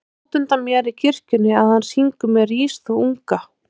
Ég sé útundan mér í kirkjunni að hann syngur með Rís þú unga